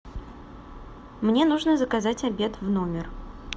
мне нужно заказать обед в номер